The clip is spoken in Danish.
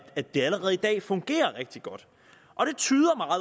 det det allerede i dag fungerer rigtig godt